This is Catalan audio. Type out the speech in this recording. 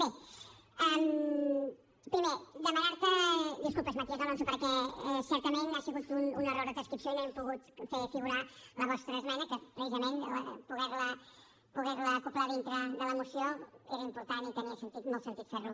bé primer demanar te disculpes matías alonso perquè certament ha sigut un error de transcripció i no hem pogut fer figurar la vostra esmena que precisament poder la acoblar dintre de la moció era important i tenia sentit molt sentit fer ho